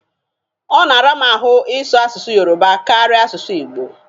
Ọ na-ara mụ ahụ ị sụ asụsụ yoroba karịa asụsụ igbo